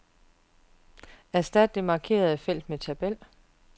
Erstat det markerede felt med tabel.